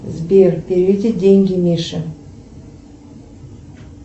сбер переведи деньги мише